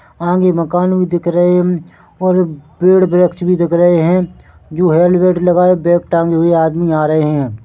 आगे मकान भी दिख रहे हम और पेड़ वृक्ष भी दिख रहे है जो हेलमेट लगाए बैग टांगे हुए आदमी आ रहे है।